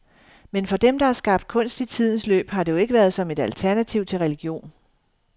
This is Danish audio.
Men for dem, der har skabt kunst i tidens løb, har det jo ikke været som et alternativ til religion.